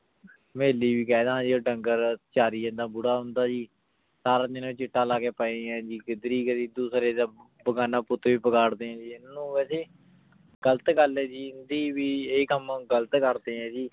ਹਵੀਲੀ ਵੀ ਕਹ ਦਾਨ ਜੀ ਊ ਦੰਗੇਰ ਚਾਰੀ ਜਾਂਦਾ ਓਦਾ ਬੁਰਾ ਜੀ ਸਾਰਾ ਦਿਨ ਊ ਚਿਤਾ ਲਾ ਕੇ ਪੇ ਆਯ ਜੀ ਕਿਦਰ ਕਦੀ ਦੋਸ੍ਰਾਯ ਦਾ ਬਿਗਾਨਾ ਪੁਤ ਵੀ ਬਿਗਾਰ ਦੀਨ ਜੀ ਏਨੁ ਅਸੀਂ ਗਲਤ ਗਲ ਆਯ ਜੀ ਆਯ ਕਾਮ ਗਲਤ ਕਰਦੇ ਆਂ ਜੀ